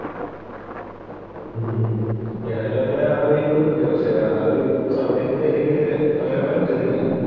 ഹും ഉം ഞാനും അങ്ങനെ ആലോചിക്കുന്നുണ്ട് പക്ഷേ ആ ഒരു സമയത്ത് എനിക്ക് അങ്ങനെ പറ്റുന്നില്ല.